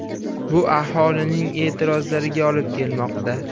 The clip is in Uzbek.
Bu aholining e’tirozlariga olib kelmoqda.